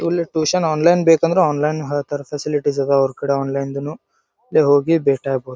ಇಲ್ಲಿ tuition online ಬೇಕಂದ್ರೆ online ಹೇಳತ್ತರೆ ಫೆಸಿಲಿಟಿಸ್ ಅದ್ ಅವ್ರ್ ಕಡೆ ಆನ್ಲೈನ್ ದುನು ನೀವ್ ಹೋಗಿ ಭೇಟಿ ಆಗಬಹುದು.